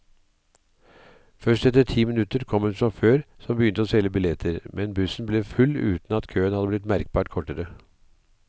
Først etter ti minutter kom en sjåfør som begynte å selge billetter, men bussen ble full uten at køen hadde blitt merkbart kortere.